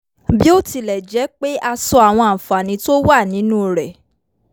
bí ó tilẹ̀ jẹ́ pé a sọ àwọn àǹfààní tó wà nínú rẹ̀